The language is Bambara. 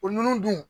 O ninnu dun